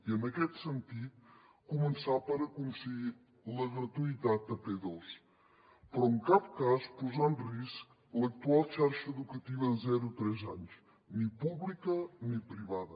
i en aquest sentit començar per aconseguir la gratuïtat a p2 però en cap cas posar en risc l’actual xarxa educativa de zero tres anys ni pública ni privada